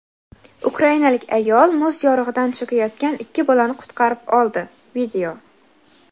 Ukrainalik ayol muz yorig‘idan cho‘kayotgan ikki bolani qutqarib oldi.